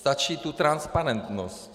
Stačí tu transparentnost!